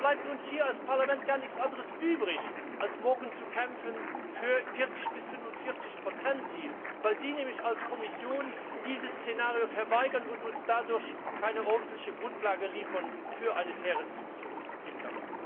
Deshalb bleibt uns hier als Parlament gar nichts anderes übrig, also morgen zu kämpfen für das 40 bis 45 Ziel, weil Sie nämlich als Kommission dieses Szenario verweigern und uns dadurch keine ordentliche Grundlage für eine faire Diskussion liefern.